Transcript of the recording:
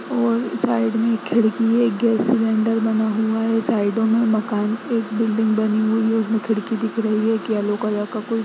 और साइड में खिड़की है गैस सिलेंडर बना हुआ है साइडो में मकान एक बिल्डिंग बनी हुई है उसमे खिड़की दिख रही है एक येलो कलर का कुछ-- --